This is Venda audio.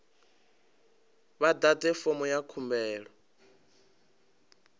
vha ḓadze fomo ya khumbelo